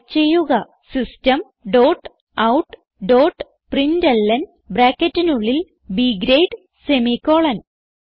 type ചെയ്യുക system dot out dot println ബ്രാക്കറ്റിനുള്ളിൽ B grade semi column